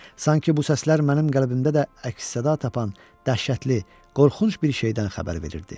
Sanki bu səslər mənim qəlbimdə də əks-səda tapan dəhşətli, qorxunc bir şeydən xəbər verirdi.